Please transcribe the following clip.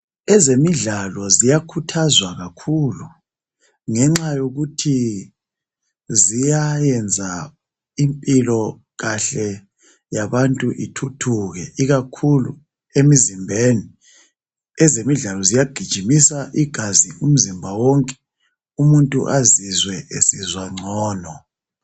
Ezemidlalo ziyakhuthazwa kakhulu ngenxa yokuthi ziyayenza impilo kahle yabantu ithuthuke ikakhulu emizimbeni, ezemidlalo ziyagijimisa igazi umzimba wonke umuntu azizwe esizwa ngcono.